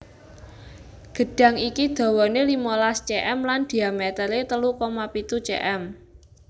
Gedhang iki dawané limolas cm lan dhiamétere telu koma pitu cm